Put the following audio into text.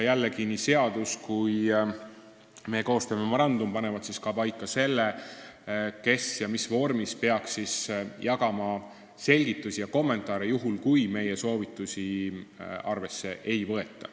Jällegi, nii seadus kui ka meie koostöömemorandum panevad paika, kes ja mis vormis peaks jagama selgitusi ja kommentaare, juhul kui meie soovitusi arvesse ei võeta.